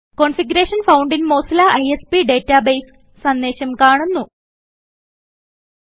configuration found in Mozilla ISP databaseസന്ദേശം കാണപ്പെടുന്നു